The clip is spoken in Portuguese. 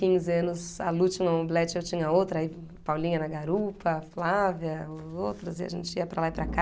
Uns quinze anos, a Lu no mobilete, eu tinha outra, aí Paulinha na garupa, Flávia, outros, e a gente ia para lá e para cá.